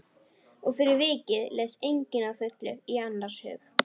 Og fyrir vikið les enginn að fullu í annars hug.